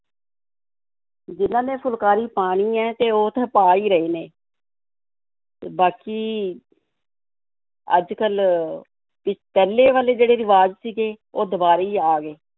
ਜਿਹਨਾਂ ਨੇ ਫੁਲਕਾਰੀ ਪਾਉਣੀ ਹੈ ਤੇ ਉਹ ਤਾਂ ਪਾ ਹੀ ਰਹੇ ਨੇ ਤੇ ਬਾਕੀ ਅੱਜ-ਕੱਲ੍ਹ ਵੀ ਪਹਿਲੇ ਵਾਲੇ ਜਿਹੜੇ ਰਿਵਾਜ਼ ਸੀਗੇ, ਉਹ ਦੁਬਾਰਾ ਹੀ ਆ ਗਏ,